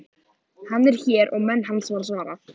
Hann er hér og menn hans, var svarað.